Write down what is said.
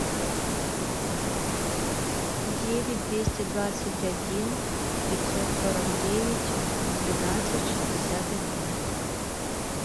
девять двести двадцать один пятьсот сорок девять двенадцать шестьдесят один